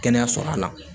Kɛnɛyaso la